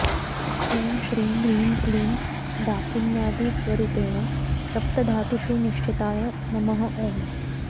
ॐ श्रीं ह्रीं क्लीं डाकिन्यादिस्वरूपेण सप्तधातुषु निष्ठिताय नमः ॐ